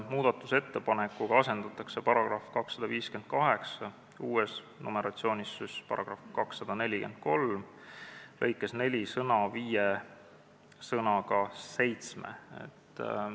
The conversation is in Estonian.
Muudatusettepanekuga asendatakse § 258 lõikes 4 sõna "viie" sõnaga "seitsme".